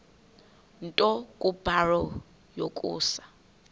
nto kubarrow yokusa